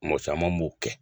Mɔɔ caman b'o kɛ.